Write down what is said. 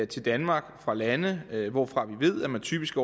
til danmark fra lande hvorfra vi ved at man typisk